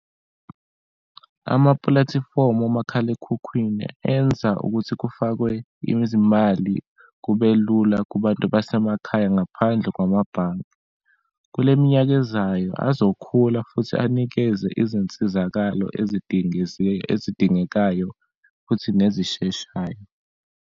Amapulatifomu omakhalekhukhwini enza ukuthi kufakwe izimali kube lula kubantu basemakhaya ngaphandle kwamabhange. Kule minyaka ezayo azokhula futhi anikeze izinsizakalo ezidingekayo futhi nezisheshayo.